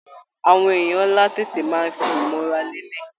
Àwọn èèyàn ńlá tètè máa ń fi ìmọra lélẹ̀